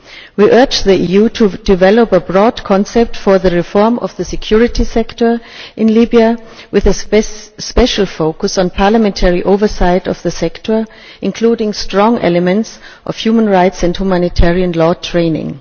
We urge the EU to develop a broad concept for the reform of the security sector in Libya with a special focus on parliamentary oversight of the sector, including strong elements of human rights and humanitarian law training.